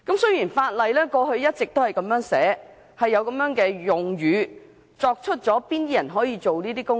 雖然法例一直有這樣的用語，限制甚麼人才可以進行這些工程。